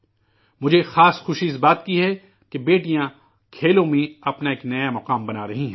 مجھے خاص طور پر اس بات سے خوشی ہے، کہ، بیٹیاں کھیلوں میں، اپنا ایک نیا مقام بنا رہی ہیں